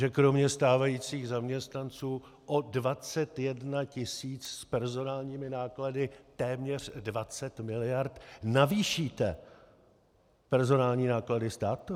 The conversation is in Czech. Že kromě stávajících zaměstnanců o 21 tisíc s personálními náklady téměř 20 miliard navýšíte personální náklady státu?